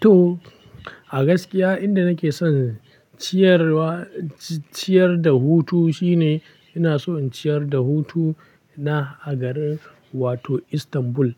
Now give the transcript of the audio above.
To, a gaskiya inda nake son ciyarwa ciyar da hutu shine ina so in ciyar da hutu na a garin wato Istanbul.